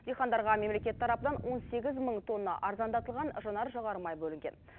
дихандарға мемлекет тарапынан он сегіз мың тонна арзандатылған жанар жағармай бөлінген